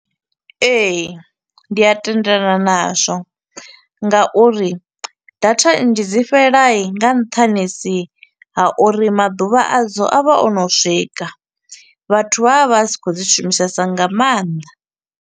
Ee, ndi a tendelana nazwo, ngauri data nnzhi dzi fhela i nga nṱhanisi ha uri maḓuvha a dzo a vha o no swika, vhathu vha vha vha si khou dzi shumisesa nga maanḓa.